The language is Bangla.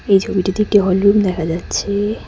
এই ছবিটিতে একটি হলরুম দেখা যাচ্ছে।